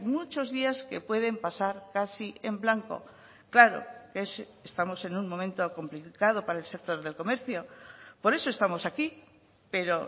muchos días que pueden pasar casi en blanco claro estamos en un momento complicado para el sector del comercio por eso estamos aquí pero